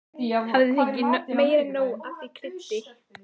Hafði fengið meira en nóg af því kryddi.